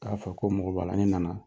Taa f' a ye ko n mɔko b'a la, n nana.